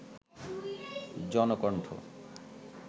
Janakantha